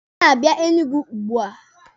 Ọ na-abịa Enugu ugbua.